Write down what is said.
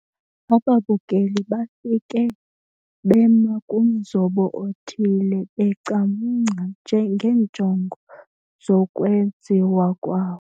Ababukeli bafike bema kumzobo othile becamngca njengeenjongo zokwenziwa kwawo.